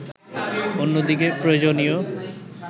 অন্যদিকে প্রয়োজনীয়